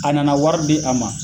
A nana wari bi a ma